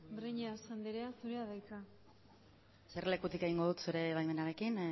breñas andrea zurea da hitza eserlekutik egingo dut zure baimenarekin